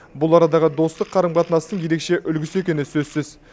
бұл арадағы достық қарым қатынастың ерекше үлгісі екені сөзсіз